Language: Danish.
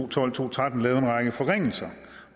og tolv til tretten lavede en række forringelser